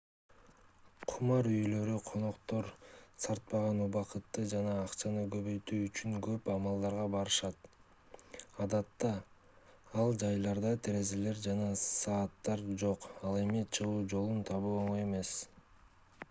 кумар үйлөрү коноктор сарптаган убакытты жана акчаны көбөйтүү үчүн көп амалдарга барышат адатта ал жайларда терезелер жана сааттар жок ал эми чыгуу жолун табуу оңой эмес